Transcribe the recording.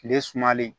Tile sumalen